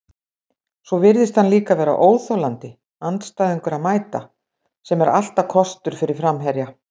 Svo virðist hann líka vera óþolandi andstæðingur að mæta, sem er alltaf kostur fyrir framherja.